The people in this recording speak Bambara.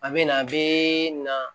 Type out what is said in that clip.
A bɛ na a bɛ na